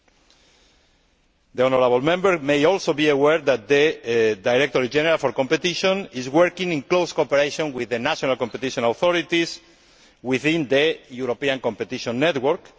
You will also be aware that the Director General for Competition is working in close cooperation with the national competition authorities within the European competition network.